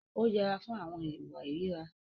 Ó yẹra fún àwọn ìwà ìríra.